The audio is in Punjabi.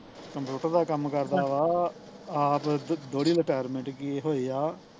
computer ਦਾ ਕੰਮ ਕਰਦਾ ਵਾ ਆਪ ਦੁ ਦੋਹਰੀ ਲਟੈਰਮੈਂਟ ਕੀ ਹੋਏ ਆ